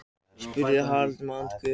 spurði Haraldur með andköfum.